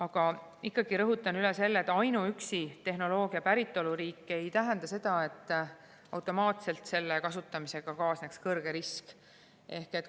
Aga ikkagi rõhutan üle, et ainuüksi tehnoloogia päritoluriik ei tähenda seda, et automaatselt selle kasutamisega kaasneks kõrge risk.